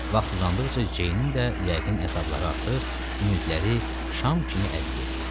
Vaxt uzandıqca Jeyninn də yəqin əzabları artır, ümidləri şam kimi əriyirdi.